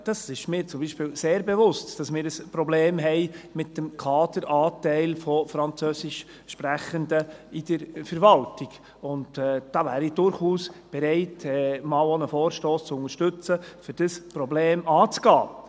Es ist mir zum Beispiel sehr bewusst, dass wir ein Problem haben mit dem Kaderanteil von Französischsprechenden in der Verwaltung, und da wäre ich durchaus bereit, auch einmal einen Vorstoss zu unterstützen, um dieses Problem anzugehen.